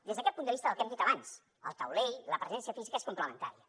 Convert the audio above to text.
des d’aquest punt de vista el que hem dit abans al taulell la presència física és complementària